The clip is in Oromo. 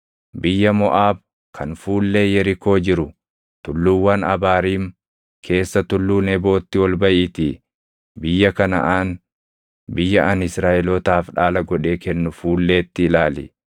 “Biyya Moʼaab kan fuullee Yerikoo jiru, tulluuwwan Abaariim keessa tulluu Nebootti ol baʼiitii biyya Kanaʼaan, biyya ani Israaʼelootaaf dhaala godhee kennu fuulleetti ilaali.